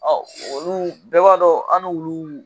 Ɔ olu bɛɛ b'a dɔn an ni olu